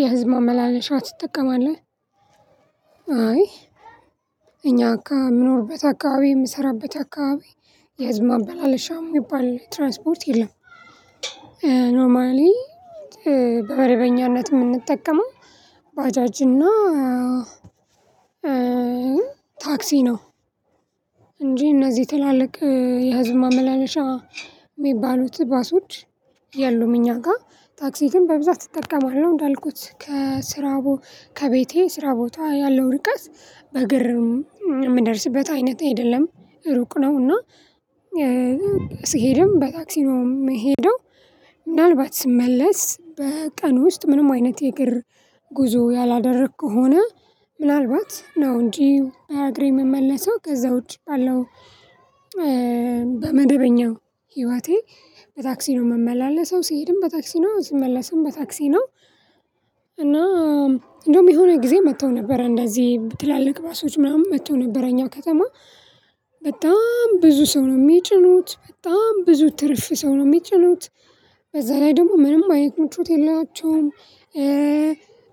የህዝብ ማመላለሻ ትጠቀማለህ? አይ እኛ አካባቢ የምኖርበት አካባቢ የምሰራበት አካባቢ የህዝብ ማመላለሻ የሚባል ትራንስፖርት የለም። ኖማሊ በመደበኛነት የምንጠቀመው ባጃጅና ታክሲ ነው። እንጂ እነዚህ ትላልቅ የህዝብ ማመላለሻ የሚባሉት ባሶች የሉም። እኛ ጋር ታክሲ ግን በብዛት እጠቀማለሁ እንዳልኩት ከስራው ከቤቴ ስራ ቦታ ያለው ርቀት በእግር የምደርስበት አይነት አይደለም ሩቅ ነው። እና ስሄድም በታክሲም ነው የምሄደው ምናልባት ስመለስ በቀን ውስጥ ምንም አይነት የእግር ጉዞ ያላደረኩ ከሆነ ምናልባት ነው እንጂ በእግሬ የምመለሰው ከዛ ውጪ ባለው በመደበኛው ህይወቴ በታክሲ ነው የምመላለሰው ስሄድም በታክሲ ነው ስመለስም በታክሲ ነው። እና እንደውም የሆነ ጊዜ መጥተው ነበር እንደዚህ ትላልቅ ባሶዎች ምናምን መጥተው ነበረ እኛ ከተማ በጣም ብዙ ሰው ነው የሚጭኑት በጣም ብዙ ትርፍ ሰው ነው የሚጭኑት በዛ ላይ ደግሞ ምንም አይነት ምቾት የላቸውም።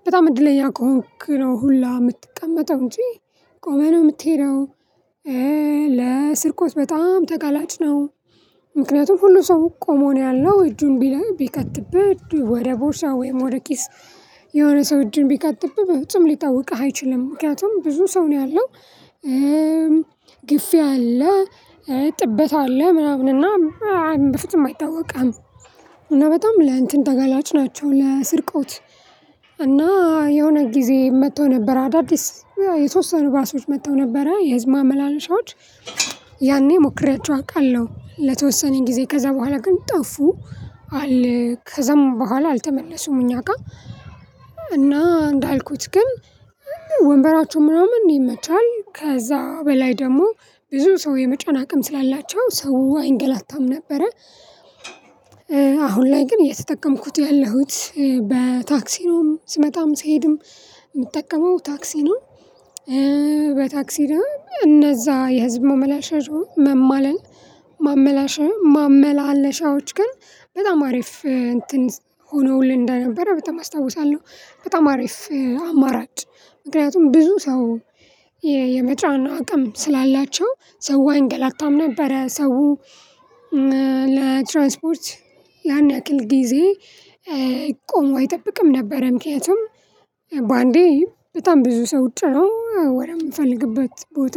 በጣም እድለኛ ከሆንክ ነው ሁላ የምትቀመጠው እንጂ ቆመህ ነው የምትሄደው። ለስርቆት በጣም ተጋላጭ ነው ምክንያቱም ሁሉ ሰው ቆሞ ነው ያለው እጁን ቢል ቢከትብህ ወደ ቦርሳው ወይም ወደ ኪስ የሆነ ሰው እጅን ቢከትብህ በፍጹም ሊታወቅህ አይችልም። ምክንያቱም ብዙ ሰው ነው ያለው አለ ጥበት አለ ምናምን እና በፍጹም አይታወቅም። እና በጣም ለእንትን ተገላጭ ናቸው ለስርቆት። እና የሆነ ጊዜ መጥቶ ነበር አዳዲስ የተወሰኑ ባሶች መጥተው ነበረ የህዝብ ማመላለሻዎች ያኔ ሞክሬያቸው አቃለው ለተወሰነ ጊዜ ከዛ በኋላ ግን ጠፉ አለ ከዛም በኋላ አልተመለሱም። እኛ ጋር እና እንዳልኩት ግን ወንበራቸው ምናምን ነው የመቻል ከዛ በላይ ደግሞ ብዙ ሰው የመጫን አቅም ስላላቸው ሰው አይንገላታም ነበረ። አሁን ላይ ግን የተጠቀምኩት ያለሁት በታክሲ ነው ስመጣም ስሄድም የምጠቀመው ታክሲ ነው። በታክሲ ነው እነዛ የህዝብ ማመላለሻ መማለል ማመላለሻዎች ግን በጣም አሪፍ እንትን ሆነውልኝ እንደነበረ በጣም አስታውሳለሁ በጣም አሪፍ አማራጭ ምክንያቱም ብዙ ሰው የመጫን አቅም ስላላቸው ሰው አይንገላታም ነበረ። ሰው ለትራንስፖርት ያን ያክል ጊዜ ቆሞ አይጠብቅም ነበር። ምክንያቱም በአንዴ በጣም ብዙ ሰው ወደምፈልግበት ቦታ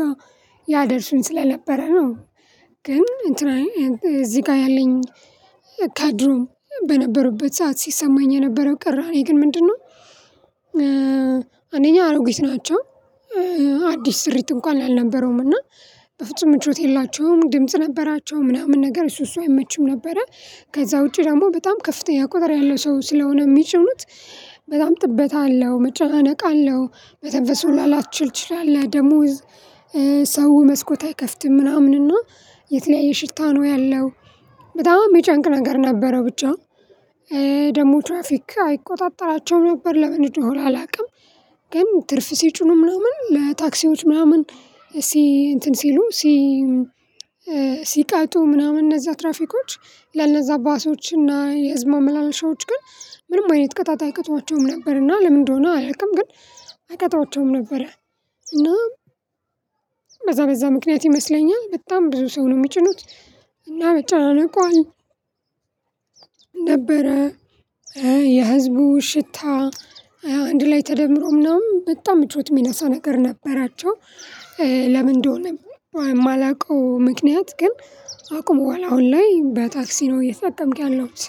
ያደርስን ስለነበረ ነው ግን እዚህ ጋር ያለኝ ከድሮም በነበሩበት ሰዓት ሲሰማኝ የነበረው ቅራኔ ግን ምንድነው? አንደኛ አሮጊት ናቸው አዲስ ስሪት እንኳን አልነበረውም እና በፍጹም ምቾት የላቸውም ድምጽ ነበራቸው ምናምን ነገር እሱ እሱ አይመችም ነበረ። ከዛ ውጪ ደግሞ በጣም ከፍተኛ ቁጥር ያለው ሰው ስለሆነ የሚጭኑት በጣም ጥበት አለው መጨናነቅ አለው መተንፈስ ላትችል ትችላለህ ደሞ ሰው መስኮት አይከፍትም ምናምን እና የተለያየ ሽታ ነው ያለው በጣም የሚጨንቅ ነገር ነበረው ብቻ ደግሞ ትራፊክ አይቆጣጠራቸውም ነበር ለምን እንደሆነ አላውቅም። ግን ትርፍ ሲጩኑ ምናምን ለታክሲዎች ምናምን ሲ እንትን ሲሉ ሲ ሲቀጡ ምናምን እነዛ ትራፊኮች ለእነዛ ባሶች እና የህዝብ ማመላለሻዎች ግን ምንም አይነት ቅጣት አይቀጧቸውም ነበርና ለምን እንደሆነ አላውቅም ግን አይቀጧቸውም ነበረ። እና በዛ በዛ ምክንያት ይመስለኛል በጣም ብዙ ሰው ነው የሚጭኑት እና መጨናነቁ ነበረ የህዝቡ ሽታ አንድ ላይ ተደምሮ ምናምን በጣም ምቾት የሚነሳ ነገር ነበራቸው። ለምን እንደሆነ የማላውቀው ምክንያት ግን አቁሟል አሁን ላይ በታክሲ ነው እየተጠቀምኩ ያለሁት።